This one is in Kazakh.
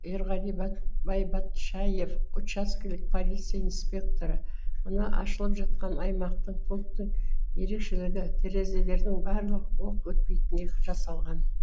ерғали байбатшаев учаскелік полиция инспекторы мына ашылып жатқан аймақтық пунктің ерекшелігі терезелерінің барлық оқ өтпейтіндей жасалған